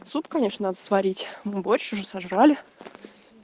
суп конечно надо сварить мы борщ уже сожрали